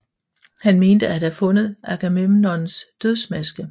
Han mente at have fundet Agamemnons dødsmaske